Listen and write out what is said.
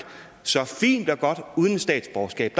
så fint og godt uden et statsborgerskab